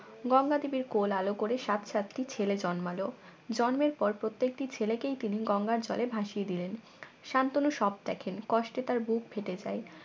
গঙ্গা দেবীর কোল আলো করে সাতটি ছেলে জন্মলো জন্মের পর প্রত্যেকটি ছেলেকেই তিনি গঙ্গার জলে ভাসিয়ে দিলেন শান্তনু সব দেখেন কষ্টে তার বুক ফেটে যায়